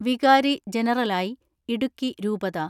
വികാരി ജനറാലായി ഇടുക്കി രൂപതാ